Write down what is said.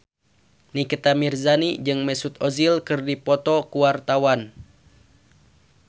Nikita Mirzani jeung Mesut Ozil keur dipoto ku wartawan